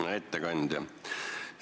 Hea ettekandja!